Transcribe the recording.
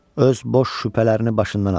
Öz boş şübhələrini başından at.